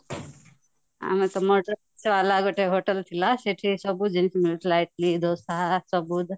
ଆମେତ ଗୋଟେ ହୋଟେଲ ଥିଲା ସେଠି ସବୁ ଜିନିଷ ମିଳୁଥିଲା ଇଟିଲି ,ଦୋସା ସବୁ